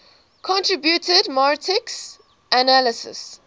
contributed marxist analyses